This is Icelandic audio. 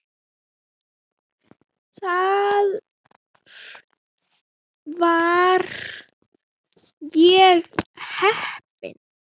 Þar var ég heppinn